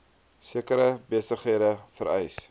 sekere besighede vereis